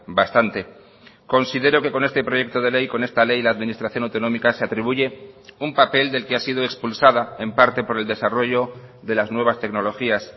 bastante considero que con este proyecto de ley con esta ley la administración autonómica se atribuye un papel del que ha sido expulsada en parte por el desarrollo de las nuevas tecnologías